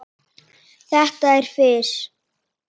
Þetta er fis.